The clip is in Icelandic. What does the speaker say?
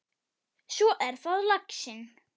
Svo er það laxinn.